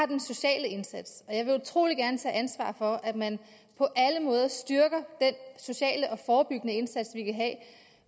den sociale indsats og jeg vil utrolig gerne tage ansvar for at man på alle måder styrker den sociale og forebyggende indsats